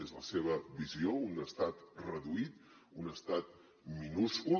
és la seva visió un estat reduït un estat minúscul